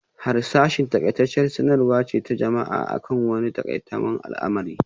Harsashi n taƙaitacciyar sanarwa ce ta jama'a akan wani takamaiman al'amari